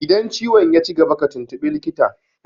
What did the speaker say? Idan ciwon yaci gaba ka tuntuɓi likita!